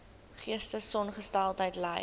geestesongesteldheid ly